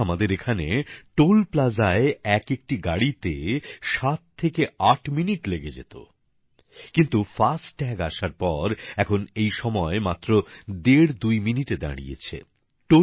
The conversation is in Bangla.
আগে আমাদের এখানে টোল প্লাজায় এক একটি গাড়িতে ৭ থেকে ৮ মিনিট লেগে যেত কিন্তু ফাস্ট্যাগ আসার পর এখন এই সময় মাত্র দেড় দুই মিনিটে দাঁড়িয়েছে